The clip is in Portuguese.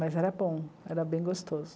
Mas era bom, era bem gostoso.